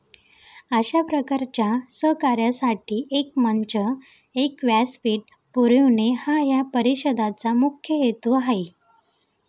अशा प्रकारच्या सहकार्यासाठी एक मंच, एक व्यासपीठ पुरवणे हा या परिषदेचा मुख्य हेतू आहे.